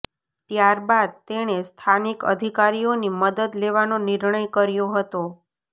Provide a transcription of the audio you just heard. ત્યારબાદ તેણે સ્થાનિક અધિકારીઓની મદદ લેવાનો નિર્ણય કર્યો હતો